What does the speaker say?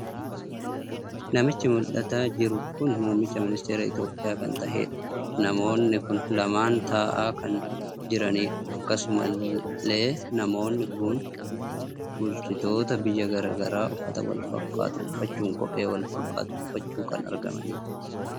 Namichi mul'atan jiru kun muummicha ministeera Itoophiyaa kana tahedha. namoonni kun lamaan taa'aa kan jiranidha. akkasuma illee namoonni kun bulchitotaa biyyaa gara garadha uffataa Wal fakkaatu uffachuun kophee Wal fakkaatu uffachuun kan argamanidha